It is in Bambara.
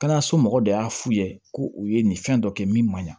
Kɛnɛyaso mɔgɔ dɔ y'a f'u ye ko u ye nin fɛn dɔ kɛ min ma ɲin